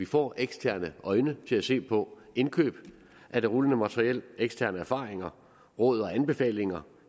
får eksterne øjne til at se på indkøb af det rullende materiel eksterne erfaringer råd og anbefalinger